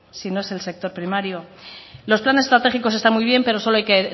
si no es el sector primario los planes estratégicos están muy bien pero solo hay que